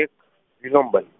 એક વિલંબન